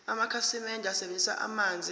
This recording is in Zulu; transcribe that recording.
amakhasimende asebenzisa amanzi